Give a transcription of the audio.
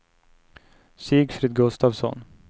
Sigfrid Gustavsson